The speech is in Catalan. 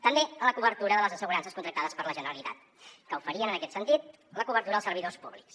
també en la cobertura de les assegurances contractades per la generalitat que oferien en aquest sentit la cobertura als servidors públics